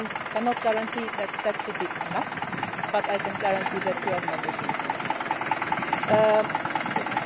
on that. I cannot guarantee that it will be enough, but I can guarantee that you have my personal commitment